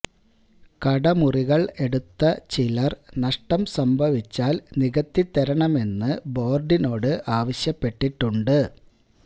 കടമുറികള് എടുത്ത ചിലര് നഷ്ടം സംഭവിച്ചാല് നികത്തി തരണമെന്ന് ബോര്ഡിനോട് ആവശ്യപ്പെട്ടിട്ടുണ്ട്